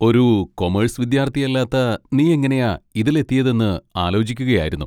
ഒരു കൊമേഴ്സ് വിദ്യാർത്ഥിയല്ലാത്ത നീയെങ്ങനെയാ ഇതിലെത്തിയെതെന്ന് ആലോചിക്കുകയായിരുന്നു.